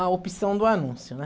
a opção do anúncio, né?